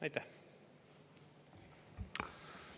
Aitäh!